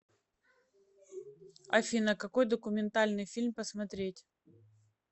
афина какой документальный фильм посмотреть